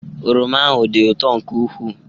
Oroma ahụ dị ụtọ nke ukwuu.